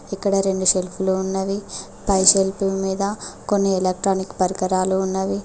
ఇక్కడ రెండు సెల్ఫ్ లు ఉన్నవి పై సెల్ఫ్ మీద కొన్ని ఎలక్ట్రానిక్ పరికరాలు ఉన్నవి.